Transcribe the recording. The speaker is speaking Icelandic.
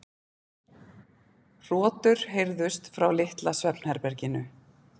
Hrotur heyrðust frá litla svefnherberginu.